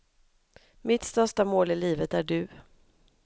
Mitt största mål i livet är du.